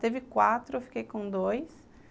Teve quatro, eu fiquei com dois.